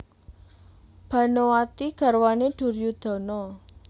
Banowati garwané Duryudana